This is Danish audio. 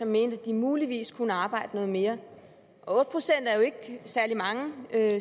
mener at de muligvis kunne arbejde mere otte procent er ikke særlig mange